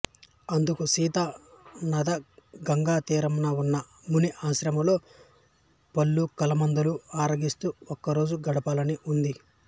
అందుకు సీత నాధా గంగా తీరంలో ఉన్న ముని ఆశ్రమాలలో పళ్ళు కందమూలాలు ఆరగిస్తూ ఒక్కరోజు గడపాలని ఉంది